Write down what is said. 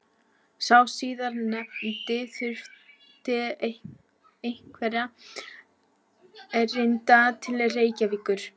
Sá síðarnefndi þurfti einhverra erinda til Reykjavíkur.